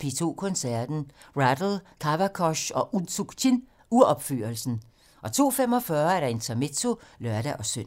P2 Koncerten - Rattle, Kavakos og Unsuk Chin-uropførelsen * 02:45: Intermezzo (lør-søn)